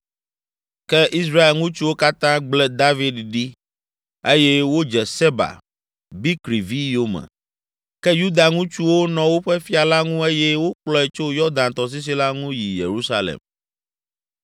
Ke Israel ŋutsuwo katã gblẽ David ɖi eye wodze Seba, Bikri vi yome! Ke Yuda ŋutsuwo nɔ woƒe fia la ŋu eye wokplɔe tso Yɔdan tɔsisi la ŋu yi Yerusalem.